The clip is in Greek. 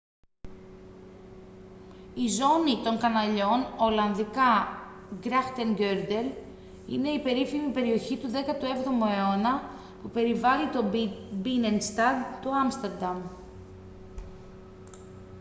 η ζώνη των καναλιών ολλανδικά: grachtengordel είναι η περίφημη περιοχή του 17ου αιώνα που περιβάλλει το μπίνενσταντ του άμστερνταμ